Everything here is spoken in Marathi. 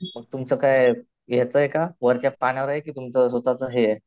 मग तुमचं काय याचंय का का? वरच्या पाण्यावर आहे कि तुमचं स्वतःच हे आहे